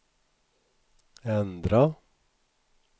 ändra